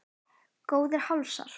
Góðir hálsar!